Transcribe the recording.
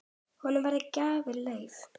Honum voru gefin lyf.